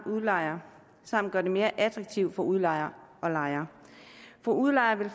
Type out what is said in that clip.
udlejere samt gøre det mere attraktivt for udlejere og lejere for udlejere